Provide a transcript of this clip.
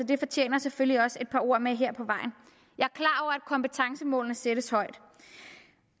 det fortjener selvfølgelig også et par ord med at kompetencemålene sættes højt og